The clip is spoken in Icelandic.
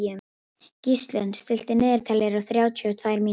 Gíslunn, stilltu niðurteljara á þrjátíu og tvær mínútur.